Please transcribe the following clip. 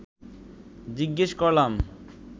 জিজ্ঞেস করলাম